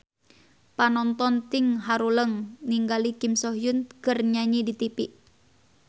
Panonton ting haruleng ningali Kim So Hyun keur nyanyi di tipi